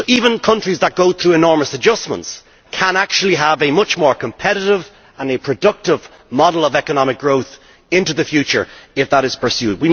So even countries that go through enormous adjustments can actually have a much more competitive and productive model of economic growth into the future, if that is pursued.